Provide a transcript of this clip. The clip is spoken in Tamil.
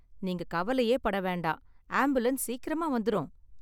நீங்க கவலையே பட வேண்டாம், ஆம்புலன்ஸ் சீக்கிரமா வந்துரும்